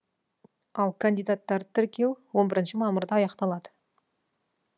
ал кандидаттарды тіркеу он бірінші мамырда аяқталады